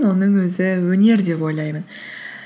оның өзі өнер деп ойлаймын